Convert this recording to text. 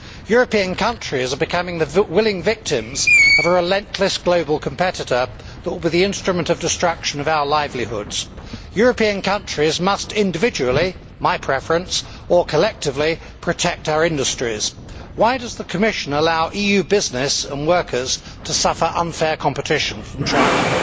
European countries are becoming the willing victims of a relentless global competitor with the instrument to destruct our livelihoods. European countries must individually my preference or collectively protect our industries. Why does the Commission allow EU business and workers to suffer unfair competition from China?